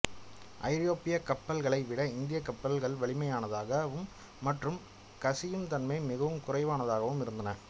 ஐரோப்பிய கப்பல்களை விட இந்தியக் கப்பல்கள் வலிமையானதாகவும் மற்றும் கசியும் தன்மை மிகவும் குறைவானதாகவும் இருந்தன